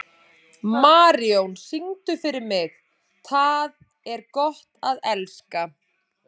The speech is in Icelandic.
Marijón, syngdu fyrir mig „Tað er gott at elska“.